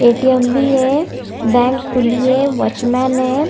ATM भी है bank खुली है वॉचमैन है।